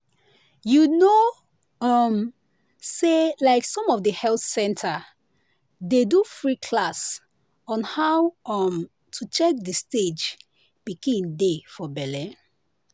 you know um say like some of the health center dey do free class on how um to check the stage pikin dey for belle.